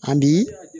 A bi